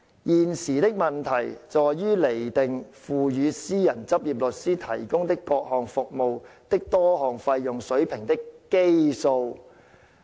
現時的問題在於釐定付予私人執業律師提供的各項服務的多項費用水平的基數"。